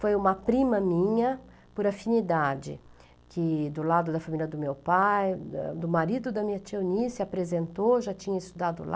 Foi uma prima minha, por afinidade, que do lado da família do meu pai, do marido da minha tia Eunice, apresentou, já tinha estudado lá.